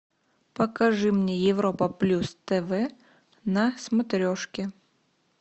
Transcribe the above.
покажи мне европа плюс тв на смотрешке